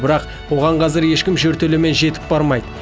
бірақ оған қазір ешкім жертөлемен жетіп бармайды